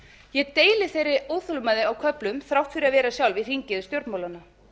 ég deili þeirri óþolinmæði á köflum þrátt fyrir að vera sjálf í hringiðu stjórnmálanna